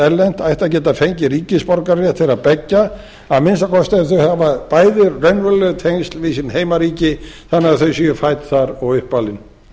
erlent ætti að geta fengið ríkisborgararétt þeirra beggja að minnsta kosti ef þau hafa bæði raunveruleg tengsl við sín heimaríki þannig að þau séu fædd þar og uppalin